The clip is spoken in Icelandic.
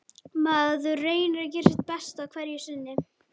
Maður reynir að gera sitt besta hverju sinni.